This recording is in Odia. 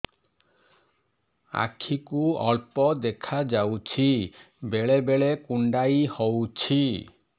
ଆଖି କୁ ଅଳ୍ପ ଦେଖା ଯାଉଛି ବେଳେ ବେଳେ କୁଣ୍ଡାଇ ହଉଛି